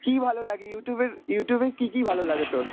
কী ভালো লাগে Youtube এর, Youtube এ কী কী ভালো লাগে তোর?